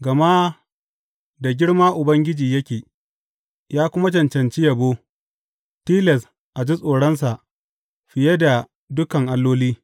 Gama da girma Ubangiji yake, ya kuma cancanci yabo; tilas a ji tsoronsa fiye da dukan alloli.